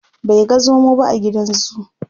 bai ga zomo ba a gidan zoo